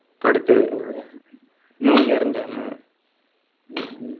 ഇപ്പൊ അടുത്ത്ന്റെ new year അന്ന്